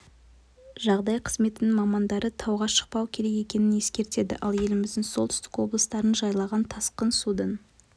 жағдай қызметінің мамандары тауға шықпау керек екенін ескертеді ал еліміздің солтүстік облыстарын жайлаған тасқын судың